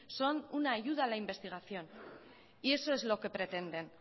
son una ayuda a la investigación y eso es lo que pretenden